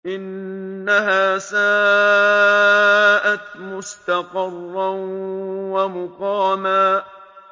إِنَّهَا سَاءَتْ مُسْتَقَرًّا وَمُقَامًا